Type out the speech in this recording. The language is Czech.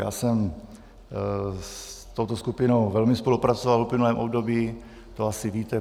Já jsem s touto skupinou velmi spolupracoval v uplynulém období, to asi víte.